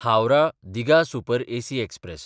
हावराह–दिघा super AC express